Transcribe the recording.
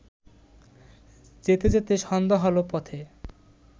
যেতে যেতে সন্ধ্যা হলো পথে